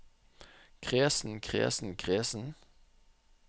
kresen kresen kresen